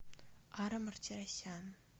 ара мартиросян